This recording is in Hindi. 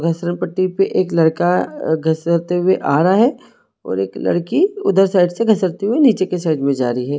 पट्टी पे एक लड़का गसरते हुए आ रहा है और एक लड़की उधर साइड से घसरती हुई नीचे के साइड मे जा रही है।